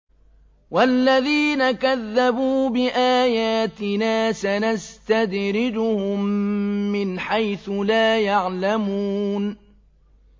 وَالَّذِينَ كَذَّبُوا بِآيَاتِنَا سَنَسْتَدْرِجُهُم مِّنْ حَيْثُ لَا يَعْلَمُونَ